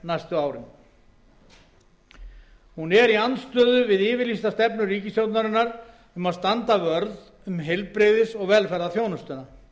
næstu árum hún er í andstöðu við yfirlýsta stefnu ríkisstjórnarinnar um standa vörð um heilbrigðis og velferðarþjónustuna